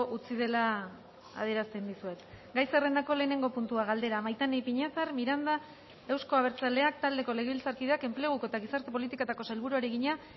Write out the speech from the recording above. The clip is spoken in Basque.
utzi dela adierazten dizuet gai zerrendako lehenengo puntua galdera maitane ipiñazar miranda euzko abertzaleak taldeko legebiltzarkideak enpleguko eta gizarte politiketako sailburuari egina